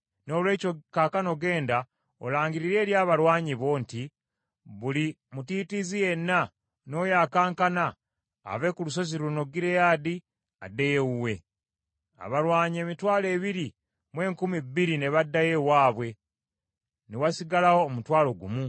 Noolwekyo kaakano genda olangirire eri abalwanyi bo nti, ‘Buli mutiitiizi yenna n’oyo akankana, ave ku lusozi luno Gireyaadi addeyo ewuwe.’ ” Abalwanyi emitwalo ebiri mu enkumi bbiri ne baddayo ewaabwe, ne wasigalawo omutwalo gumu.